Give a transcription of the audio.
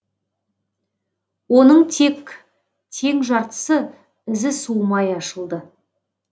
оның тек тең жартысы ізі суымай ашылды